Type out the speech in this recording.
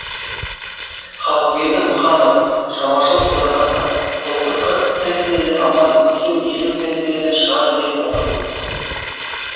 халықберді мыханов шаруашылық төрағасы былтыр қырық центнерден алғанбыз биыл елу центнерден шығады деп отырмыз